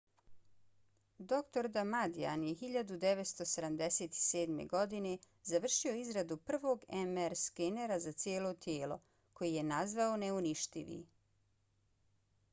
dr. damadian je 1977. godine završio izradu prvog mr skenera za cijelo tijelo koji je nazvao neuništivi